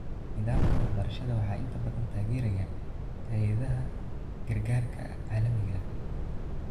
Nidaamka waxbarashada waxaa inta badan taageera hay'adaha gargaarka caalamiga ah.